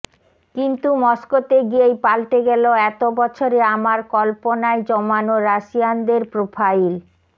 কিন্তু মস্কোতে গিয়েই পাল্টে গেল এত বছরে আমার কল্পনায় জমানো রাশিয়ানদের প্রোফাইল